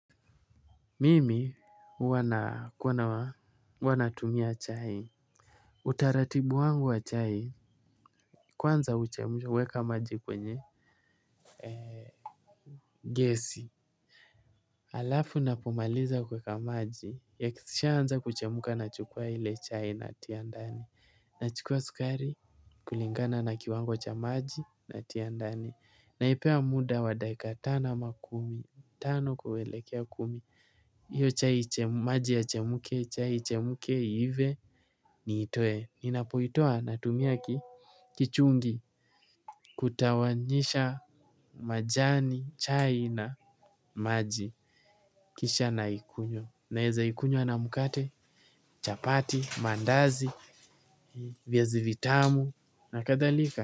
Mimi wanatumia chai. Utaratibu wangu wa chai. Kwanza uchemuweka maji kwenye gesi. Alafu napomaliza kuweka maji ya kisisha anza kuchemuka na chukua hile chai na tiandani. Na chukua sukari kulingana na kiwango cha maji na tiandani. Na ipea muda wa daika tano ama kumi tano kuwelekea kumi hiyo chai maji yachemuke chai ichemuke iive niitoe ninapotoa natumia kichungi. Kutawanyisha majani, chai na maji. Kisha na ikunywa, naeza ikunywa na mukate, chapati, mandazi, viazi vitamu na kathalika.